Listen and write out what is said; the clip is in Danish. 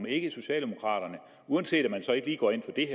ikke socialdemokraterne uanset at man så ikke lige går ind for det